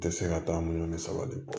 Tɛ se ka taa minnu sabati